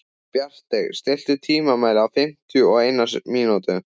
Bjargey, stilltu tímamælinn á fimmtíu og eina mínútur.